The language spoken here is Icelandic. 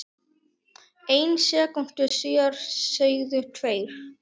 einni sekúndu síðar segðu tveir